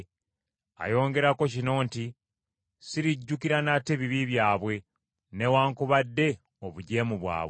Ayongerako kino nti, “Sirijjukira nate bibi byabwe newaakubadde obujeemu bwabwe.”